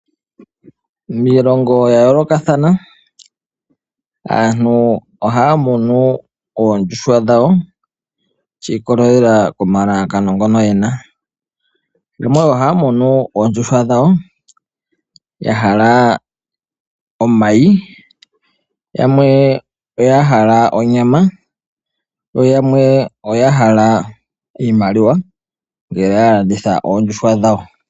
Miilongo ya yoolokathana aantu ohaya munu oondjuhwa dhawo shi ikolelela komalalakano ngoka yena. Yamwe ohaya munu ya hala omayi, yamwe oya hala onyama noyamwe oya hala iimaliwa ngele ya landitha oondjuhwa dhawo.